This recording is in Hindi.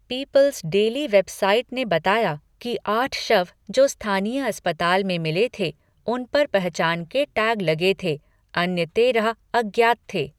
पीपल्स डेली वेब साइट ने बताया कि आठ शव जो स्थानीय अस्पताल में मिले थे, उन पर पहचान के टैग लगे थे, अन्य तेरह अज्ञात थे।